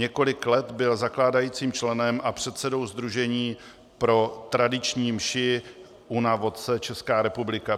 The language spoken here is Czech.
Několik let byl zakládajícím členem a předsedou sdružení pro tradiční mši Una Voce Česká republika.